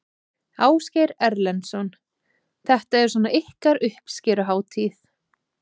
Ásgeir Erlendsson: Þetta er svona ykkar uppskeruhátíð?